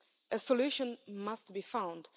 A solution must be found.